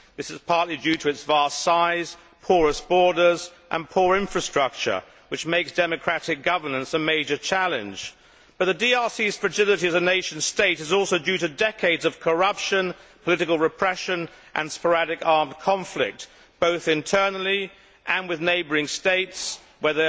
this is partly due to its vast size, porous borders and poor infrastructure, which makes democratic governance a major challenge. But the DRC's fragility as a nation state is also due to decades of corruption, political repression and sporadic armed conflict, both internally and with neighbouring states, where